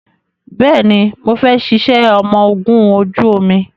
Bẹẹni, mo fẹ́ ṣiṣẹ́ ọmọ ogún ojú omi